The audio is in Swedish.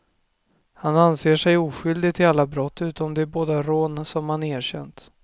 Han anser sig oskyldig till alla brott utom de båda rån som han erkänt.